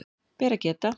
Ber að geta